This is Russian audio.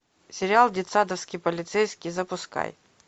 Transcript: сериал детсадовский полицейский запускай